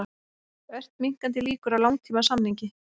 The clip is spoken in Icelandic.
Ört minnkandi líkur á langtímasamningi